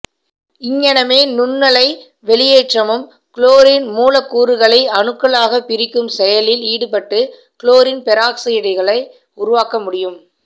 இங்ஙனமே நுண்ணலை வெளியேற்றமும் குளோரின் மூலக்கூறுகளை அணுக்களாகப் பிரிக்கும் செயலில் ஈடுபட்டு குளோரின் பெராக்சைடுகளை உருவாக்க முடியும்